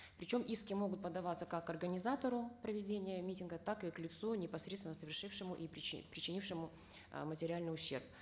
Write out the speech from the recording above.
причем иски могут подаваться как организатору проведения митинга так и к лицу непосредственно совершившему и причинившему э материальный ущерб